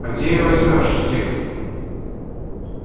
а где её возьмёшь технику